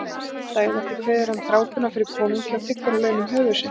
Daginn eftir kveður hann drápuna fyrir konungi og þiggur að launum höfuð sitt.